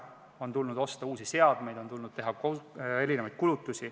On tulnud osta uusi seadmeid, on tulnud teha erinevaid kulutusi.